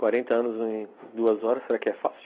Quarenta anos em duas horas, será que é fácil?